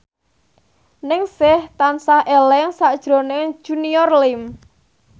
Ningsih tansah eling sakjroning Junior Liem